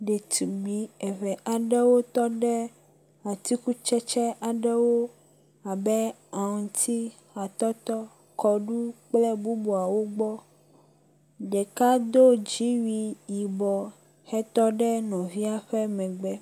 Ɖetugbi eve aɖewo tɔ ɖe atikutsetse aɖewo abe; aŋti, atɔtɔ, kɔɖu kple bubuawo gbɔ. Ɖeka do dziwui yibɔ hetɔ ɖe nɔvia ƒe megbe.